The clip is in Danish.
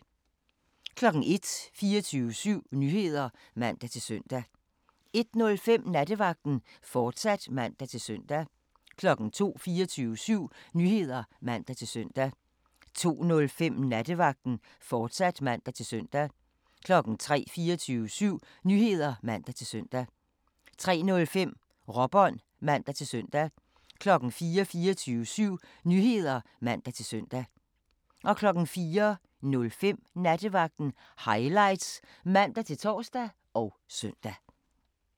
01:00: 24syv Nyheder (man-søn) 01:05: Nattevagten, fortsat (man-søn) 02:00: 24syv Nyheder (man-søn) 02:05: Nattevagten, fortsat (man-søn) 03:00: 24syv Nyheder (man-søn) 03:05: Råbånd (man-søn) 04:00: 24syv Nyheder (man-søn) 04:05: Nattevagten Highlights (man-tor og søn)